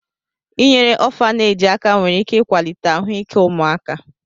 Inyere ọfaneeji aka nwere ike ịkwalite ahụike ụmụaka.